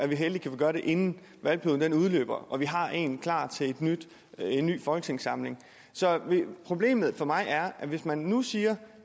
heldige kan vi gøre det inden valgperioden udløber så vi har en plan klar til en ny folketingssamling problemet for mig er at hvis man nu siger